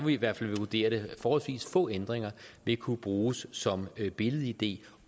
i hvert fald vurdere det forholdsvis få ændringer vil kunne bruges som billed id